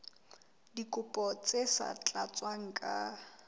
dikopo tse sa tlatswang ka